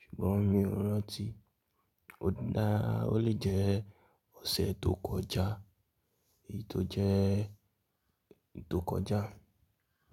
ṣùgbọ́n mi ò rántí. Ó dáa, ó lè jẹ́ ọ̀sẹ̀ tó kọjá èyí tó jẹ́ tó kọjá.